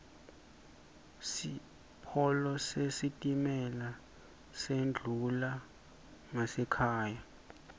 sipolo sesitimela sendlula ngasekhaya